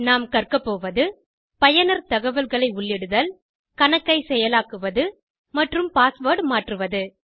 நாம் கற்க போவது பயனர் தகவல்களை உள்ளிடுதல் கணக்கை செயலாக்குவது மற்றும் பாஸ்வேர்ட் மாற்றுவது